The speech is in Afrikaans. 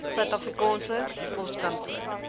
suid afrikaanse poskantoor